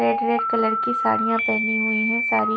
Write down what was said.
red red colour की साड़ियां पहनी हुई हैं सारी--